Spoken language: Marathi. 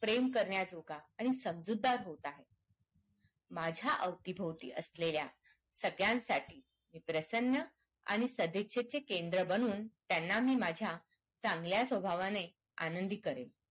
प्रेम करण्याजोगा आणि समजूतदार होत आहेत माझ्या अवतीभोवती असलेल्या सगळ्यांसाठी हे प्रसन्न आणि सदिच्छेचे केंद्र बनून त्यांना मी माझ्या चांगल्या स्वभावाने आनंदी करेन